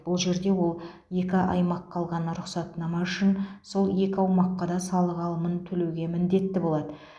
бұл жерде ол екі аймаққа алған рұқсатнама үшін сол екі аумаққа да салық алымын төлеуге міндетті болады